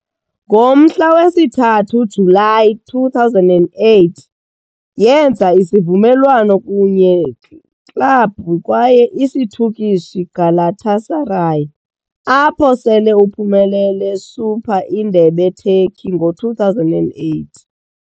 Ngomhla we-3 Julayi 2008, yenza isivumelwano kunye club kwaye isiturkish Galatasaray, apho sele uphumelele Super indebe Turkey, ngo-2008.